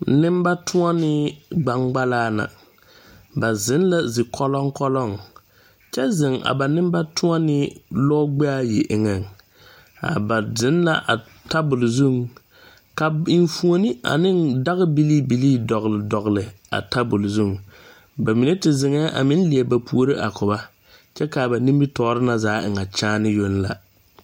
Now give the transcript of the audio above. Neŋbatoɔnee gbaŋgbalaa na ba zeŋ la ze kɔlɔŋkɔlɔŋ kyɛ zeŋ a ba neŋbatoɔnee lɔ gbɛɛayi eŋɛŋ a ba zeŋ la a tabol zuŋ ka enfuone a neŋ day bilii bilii dɔgle dɔgle a tabol zuŋ ba mine te zeŋɛɛ a meŋ lie ba puore a ko ba kyɛ kaa ba nimitoore na zaa e ŋa kyaane yoŋ la.